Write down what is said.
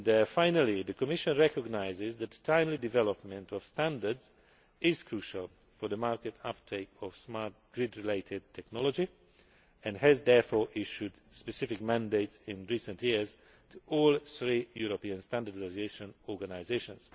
Finally, the Commission recognises that timely development of standards is crucial for the market uptake of smart grid related technology and has therefore issued specific mandates in recent years to all three European Standardisation Organisations.